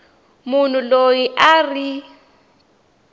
munhu loyi a a ri